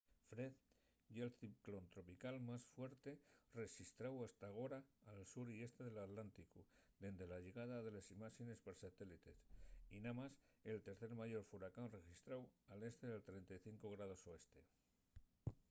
fred ye’l ciclón tropical más fuerte rexistráu hasta agora al sur y este del atlánticu dende la llegada de les imáxenes per satélite y namás el tercer mayor furacán rexistráu al este del 35º o